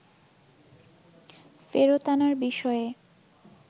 ফেরত আনার বিষয়ে